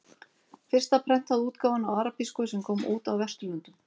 Fyrsta prentaða útgáfan á arabísku sem kom út á Vesturlöndum.